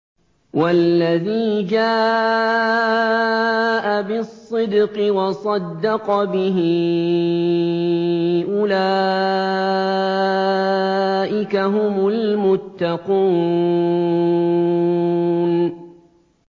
وَالَّذِي جَاءَ بِالصِّدْقِ وَصَدَّقَ بِهِ ۙ أُولَٰئِكَ هُمُ الْمُتَّقُونَ